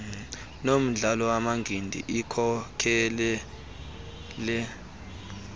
nomdlalo wamanqindi ikhokelele